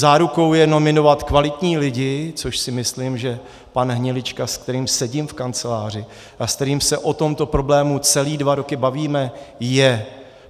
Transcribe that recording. Zárukou je nominovat kvalitní lidi, což si myslím, že pan Hnilička, se kterým sedím v kanceláři a se kterým se o tomto problému celé dva roky bavíme, je.